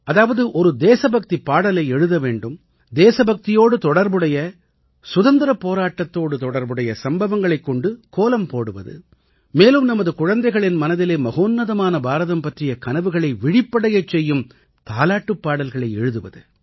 அதாவது ஒரு தேசபக்திப் பாடலை எழுத வேண்டும் தேசபக்தியோடு தொடர்புடைய சுதந்திரப் போராட்டத்தோடு தொடர்புடைய சம்பவங்களைக் கொண்டு கோலம் போடுவது மேலும் நமது குழந்தைகளின் மனதிலே மகோன்னதமான பாரதம் பற்றிய கனவுகளை விழிப்படையச் செய்யும் தாலாட்டுப் பாடல்களை எழுதுவது